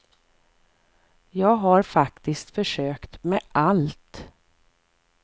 Jag har faktiskt försökt med allt.